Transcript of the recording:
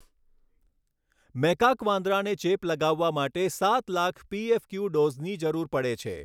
Macaque વાંદરાને ચેપ લગાવવા માટે સાત લાખ પીએફક્યુ ડોઝની જરૂરી પડે છે.